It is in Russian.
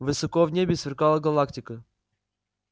высоко в небе сверкала галактика